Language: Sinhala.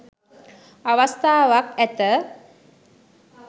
අවස්ථාවක් ඇත